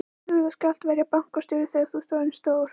Berti þú skalt verða bankastjóri þegar þú ert orðinn stór!